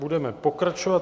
Budeme pokračovat.